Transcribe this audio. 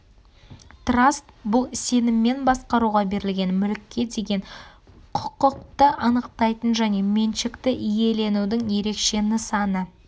траст бұл сеніммен басқаруға берілген мүлікке деген құқықты анықтайтын және меншікті иеленудің ерекше нысаны